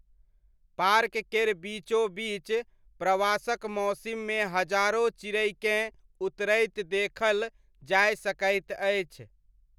Park केर बीचोबीच प्रवासक मौसिममे हजारो चिड़ैकेँ उतरैत देखल जाय सकैत अछि।